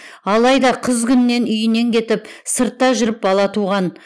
алайда қыз күнінен үйінен кетіп сыртта жүріп бала туған